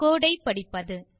கோடு ஐ படிப்பது